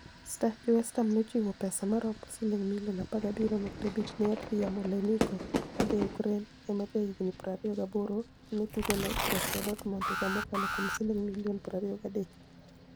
(Star) Jo-West Ham ni e ochiwo pesa maromo silinig' milioni 17.5 ni e Anidriy Yarmoleniko ma ja-Ukraini e ma jahiginii 28 ma ni e otugo ni e Borussia Dortmunid higa mokalo kuom silinig' milioni 23.